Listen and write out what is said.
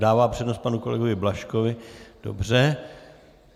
Dává přednost panu kolegovi Blažkovi, dobře.